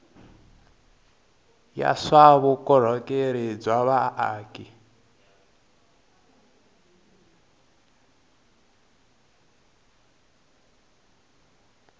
ya swa vukorhokeri bya vaaki